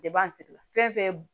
De b'an fɛn fɛn b